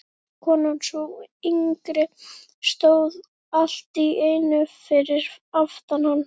Konan, sú yngri, stóð allt í einu fyrir aftan hann.